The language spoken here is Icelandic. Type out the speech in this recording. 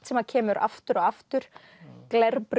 sem kemur aftur og aftur